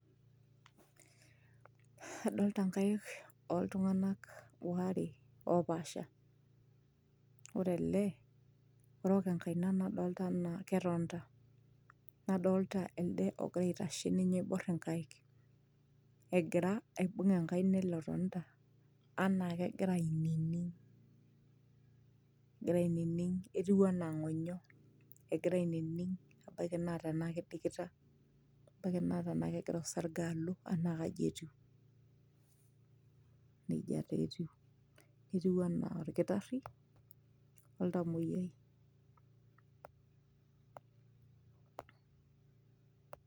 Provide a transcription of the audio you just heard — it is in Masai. adolta nkaik oltung'anak ware opaasha ore ele orok enkaina nadolta enaa ketonita nadolta elde ogira aitashe ninye oiborr inkaik egira aibung enkaina ele otonita anaa kegira ainining egira ainining etiu enaa ing'onyo egira ainining ebaiki naa tenaa kidikita ebaiki naa tenaa kegira osarge alo anaa kaji etiu nejia taa etiu etiu anaa orkitarri oltamoyiai.